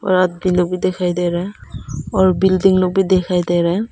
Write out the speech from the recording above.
और आदमी लोग भी दिखाई दे रहा है और बिल्डिंग लोग भी दिखाई दे रहा हैं।